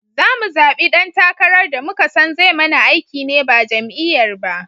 Zamu zaɓi dan takarar da muka son zai mana aiki ne ba jam'iyyar ba